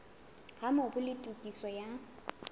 ha mobu le tokiso ya